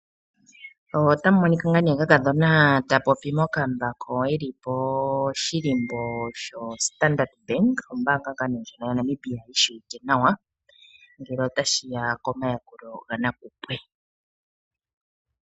Otamu monika nga ne kakadhona ta popi mokambako poshilimbo sho Standardbank ombanga nga ne ndjino yaNamibia yi shiwike nawa ngele otashi ya komayakulo ga nakupwe.